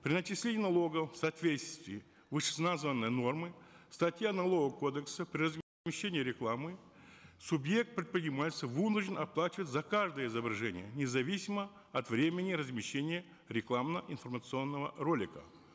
при начислении налогов в соответствии с вышеназванной нормой статья налогового кодекса рекламы субъект предпринимательства вынужден оплачивать за каждое изображение независимо от времения размещения рекламно информационного ролика